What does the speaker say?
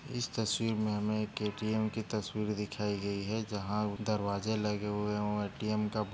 इस तस्वीर में हमे एक ए.टी.एम की तस्वीर दिखाई गई है जहा दरवाजे लगे हुए है वो ए_टी_एम का--